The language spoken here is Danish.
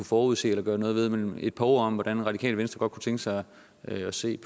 forudse eller gøre noget ved men vi et par ord om hvordan radikale venstre godt kunne tænke sig at se